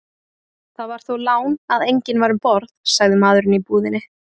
Það var þó lán að enginn var um borð, sagði maðurinn í búðinni.